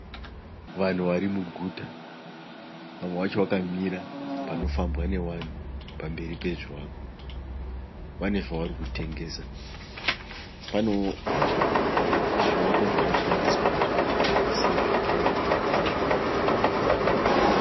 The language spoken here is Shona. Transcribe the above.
Wanhu wari muguta wamwe wacho wakamira panofambwa newanhu pamberi zvivakwa. Pane zvawari kutengesa. Panewo zviwakwa zvinoshandiswa sezvitoro.